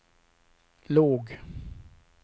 låg